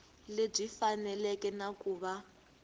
lebyi faneleke na ku va